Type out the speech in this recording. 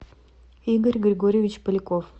игорь григорьевич поляков